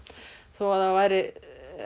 þó að það væri